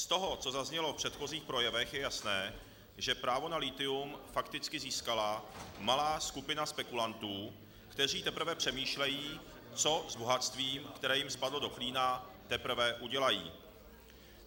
Z toho, co zaznělo v předchozích projevech, je jasné, že právo na lithium fakticky získala malá skupina spekulantů, kteří teprve přemýšlejí, co s bohatstvím, které jim spadlo do klína, teprve udělají.